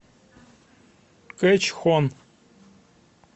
кэчхон